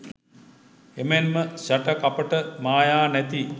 එමෙන් ම ශඨ කපට මායා නැති